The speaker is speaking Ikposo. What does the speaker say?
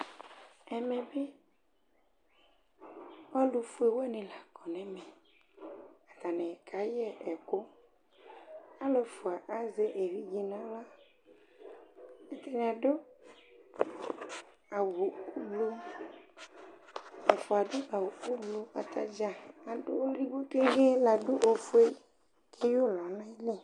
Ɛmɛ bɩ alʋ fue wanɩ la kɔ nɛmɛAtanɩ ka yɛ ɛkʋ; Alʋ ɛfʋa azɛ evidze naɣla, atanɩ adʋ awʋ blu, ɛfʋa adʋ awʋ ublu, atadza adʋ ɔlʋ edigbo keŋgee la adʋ ofue keyǝ ʋlɔ nalɛ